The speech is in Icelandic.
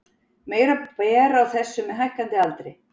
Meira ber á þessu með hækkandi aldri.